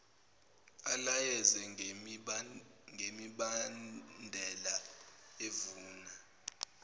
alayeze ngemibandela evuna